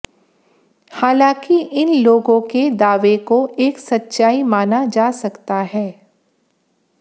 हालांकि इन लोगों के दावें को एक सच्चाई माना जा सकता हैं